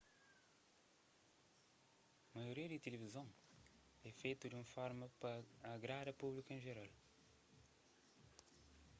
maioria di tilivizon é fetu di un forma pa agrada públiku en jeral